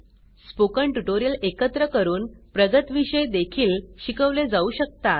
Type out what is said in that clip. spoken tutorial एकत्र करून प्रगत विषय देखील शिकवले जाऊ शकतात